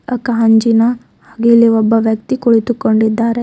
ಆ ಗಾಂಜಿನ ಹಾಗೆ ಒಬ್ಬ ವ್ಯಕ್ತಿ ಕುಳಿತುಕೊಂಡಿದ್ದಾರೆ.